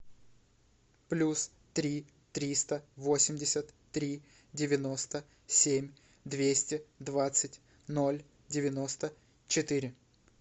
плюс три триста восемьдесят три девяносто семь двести двадцать ноль девяносто четыре